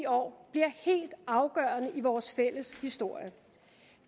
år bliver helt afgørende i vores fælles historie